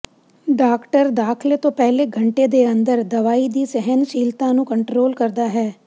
doctor ਦਾਖਲੇ ਤੋਂ ਪਹਿਲੇ ਘੰਟੇ ਦੇ ਅੰਦਰ ਦਵਾਈ ਦੀ ਸਹਿਣਸ਼ੀਲਤਾ ਨੂੰ ਕੰਟਰੋਲ ਕਰਦਾ ਹੈ